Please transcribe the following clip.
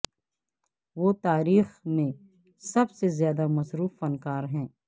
وہ تاریخ میں سب سے زیادہ مصروف فنکار ہے